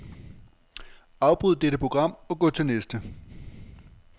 Afbryd dette program og gå til næste.